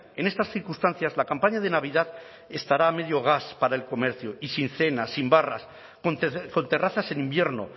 en estas circunstancias la campaña de navidad estará a medio gas para el comercio y sin cenas sin barras con terrazas en invierno